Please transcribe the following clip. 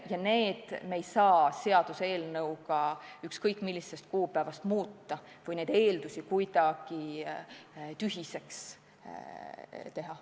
Ja neid me ei saa seadusega ükskõik mis kuupäevast muuta või neid eeldusi kuidagi tühiseks teha.